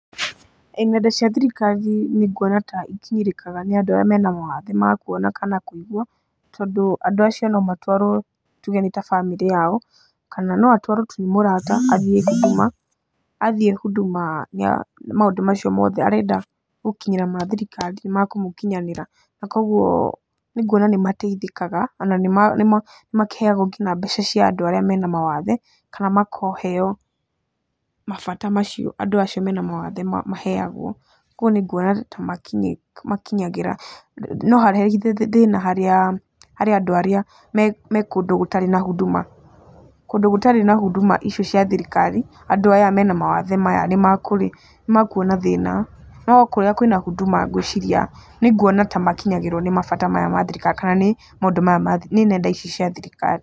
Nenda cia thirikari nĩ nguona ta ikinyĩrĩkaga nĩ andũ arĩa me mawathe ma kuona kana kũigua tondũ andũ acio no matwarwo tuge nĩ ta bamĩrĩ yao kana no atwaro tu nĩ mũrata athiĩ Huduma, athiĩ Huduma maũndũ macio mothe arenda gũkinyĩra mathirikari nĩ makũmũkinyanĩra na kuũguo nĩ nguona nĩ mateithĩkaga ona nĩ makĩheagwo nginya mbeca cia andũ arĩa me na mawathe kana makaheo mabata macio andũ acio me na mawathe maheagwo, kuũguo nĩ nguona ta makinyagĩra. No thĩna harĩ andũ arĩa me kũndũ gũtarĩ na Huduma, kũndũ gũtari na Huduma ici cia thirikari, andũ aya me na mawathe maya nĩ mekuona thĩna no kũria kwĩna Huduma ngwĩciria, nĩ nguona ta makinyagĩrwo nĩ mabata maya ma thirikari kana nĩ maũndũ maya ma thikirikari nĩ nenda ici cia thirikari.